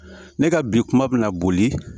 Ne ka bi kuma bɛna boli